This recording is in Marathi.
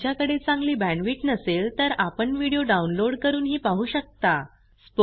जर तुमच्याकडे चांगली बॅण्डविड्थ नसेल तर आपण व्हिडिओ डाउनलोड करूनही पाहू शकता